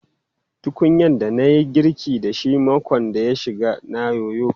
Tukunyan da na yi girkin da shi makon da ya shige na yoyo.